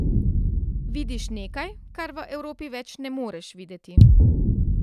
Vidiš nekaj, kar v Evropi več ne moreš videti.